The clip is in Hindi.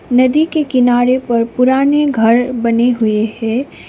नदी के किनारे पर पुराने घर बने हुए है।